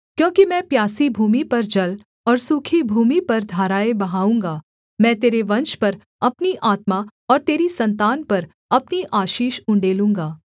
क्योंकि मैं प्यासी भूमि पर जल और सूखी भूमि पर धाराएँ बहाऊँगा मैं तेरे वंश पर अपनी आत्मा और तेरी सन्तान पर अपनी आशीष उण्डेलूँगा